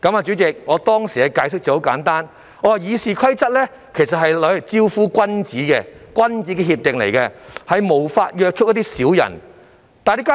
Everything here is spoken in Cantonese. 主席，我當時的解釋很簡單，我告訴他們，《議事規則》其實是用來招呼君子的，屬於君子協定，故無法約束小人。